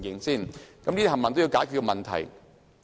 這些都是要解決的問題。